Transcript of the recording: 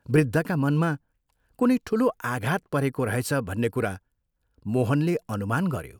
वृद्धका मनमा कुनै ठूलो आघात परेको रहेछ भन्ने कुरा मोहनले अनुमान गयो।